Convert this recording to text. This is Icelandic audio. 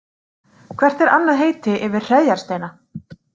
Hvert er annað heiti yfir hreðjarsteina?